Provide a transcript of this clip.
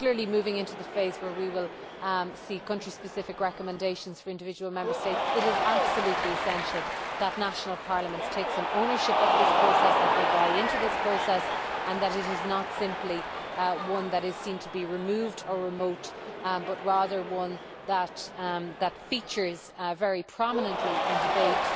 Moving into the phase where we will see country specific recommendations for individual Member States, it is absolutely essential that national parliaments take some ownership of this process, that they buy into this process and that it is not simply one that is seen to be removed or remote, but rather one that features very prominently in debate